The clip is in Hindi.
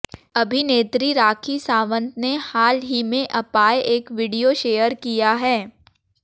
अभिनेत्री राखी सावंत ने हाल ही में अपाए एक वीडियो शेयर किया है